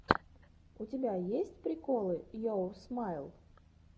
у тебя есть приколы йоур смайл